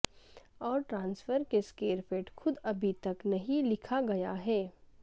اور ٹرانسفر کے اسکرپٹ خود ابھی تک نہیں لکھا گیا ہے